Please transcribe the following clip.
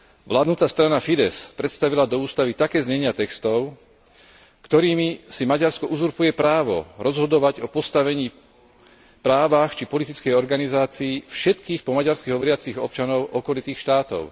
Vládnuca strana Fidesz predstavila do ústavy také znenia textov, ktorými si Maďarsko uzurpuje právo rozhodovať o postavení, právach či politickej organizácii všetkých po maďarsky hovoriacich občanov okolitých štátov.